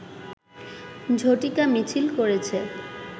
ঝটিকা মিছিল করেছে